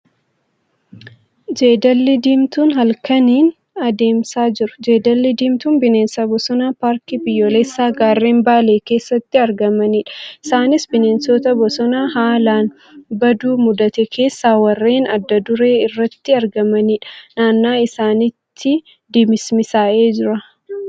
Jeedalli diimtuun halkaniin adamsaa jiru. Jeedalli diimtuun bineensa bosonaa paarkii biyyoolessaa gaarreen baalee keessatti argamaniidha. Isaanis bineensota bosonaa balaan baduu mudate keessaa warreen addaa duree irratti argamaniidha. Naanna'aa isaanitti dimismisaa'ee jira.